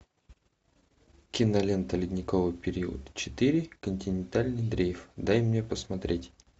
кинолента ледниковый период четыре континентальный дрейф дай мне посмотреть